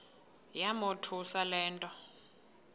yamothusa le nto